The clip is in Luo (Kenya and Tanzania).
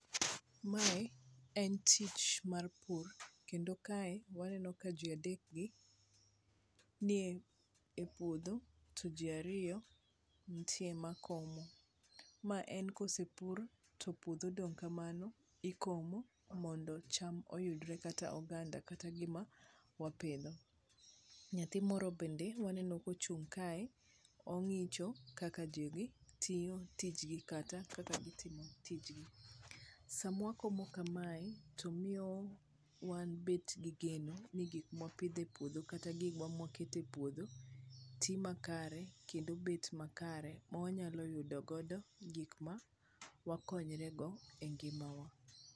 Mae en tich mar pur kendo kae waneno ka ji adek gi nie e puodho, to ji ariyo ntie ma komo. Ma ene kosepur to puodho odong' kamano, tikomo mondo cham oyudre kata oganda kata gima wapidho. Nyathi moro bende waneno ka ochung' kae, ong'icho kaka ji dhi tiyo tijgi kata kaka gitimo tijgi. Samwa komo kamae tomiyo wan bet gi geno ni gik mopidh e puodho kata gikwa makwete e puodho, ti makare kendo bet makare ma wanyalo yudo godo gik ma wakonyre go e ngimawa.